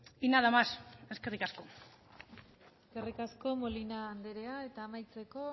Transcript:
y nada más eskerrik asko eskerrik asko molina andrea eta amaitzeko